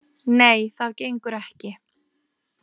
Nei, það gengur ekki.